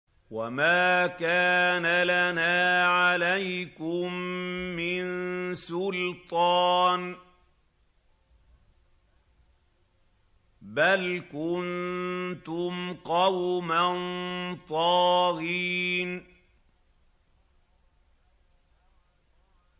وَمَا كَانَ لَنَا عَلَيْكُم مِّن سُلْطَانٍ ۖ بَلْ كُنتُمْ قَوْمًا طَاغِينَ